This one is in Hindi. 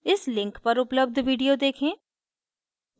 इस link पर उपलब्ध video देखें